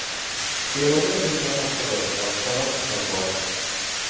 Kemada to‘rt nafar Qozog‘iston fuqarosi ham bor .